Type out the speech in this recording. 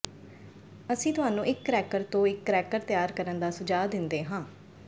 ਅਸੀਂ ਤੁਹਾਨੂੰ ਇੱਕ ਕਰੈਕਰ ਤੋਂ ਇੱਕ ਕਰੈਕਰ ਤਿਆਰ ਕਰਨ ਦਾ ਸੁਝਾਅ ਦਿੰਦੇ ਹਾਂ